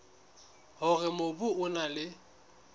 hore mobu o na le